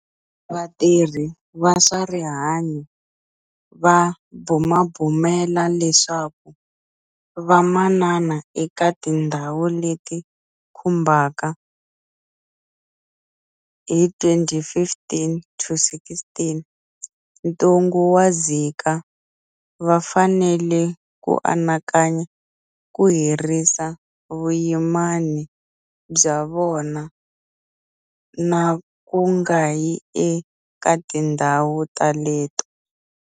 Vatirhi va swa rihanyu va bumabumela leswaku vamanana eka tindhawu leti khumbekaka hi 2015 to16 Ntungu wa Zika va fanele ku anakanya ku herisa vuyimani bya vona na ku nga yi eka tindhawu teleto.